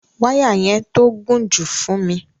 Wàya yẹn tó gún ju fún mi.